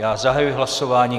Já zahajuji hlasování.